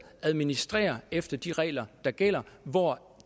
administrerer efter de regler der gælder hvor